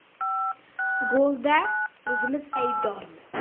Golda o‘zimiz aybdormiz.